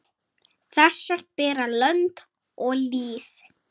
Þessar bera lönd og lýð.